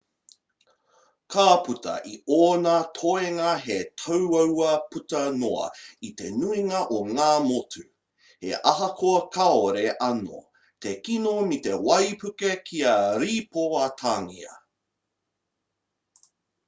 ka puta i ōna toenga he tāuaua puta noa i te nuinga o ngā motu he ahakoa kāore anō te kino me te waipuke kia rīpoatangia